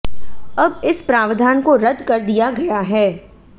अब इस प्रावधान को रद्द कर दिया गया है